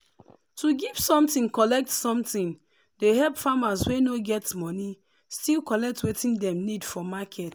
to give something collect something dey help farmers wey no get moni still collect wetin dem need for market.